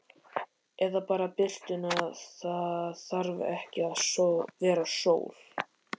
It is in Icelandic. Eða bara birtuna, það þarf ekki að vera sól.